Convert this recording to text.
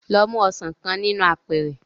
Lọ mu ọsàn kan nínú apẹ̀ẹ̀rẹ̀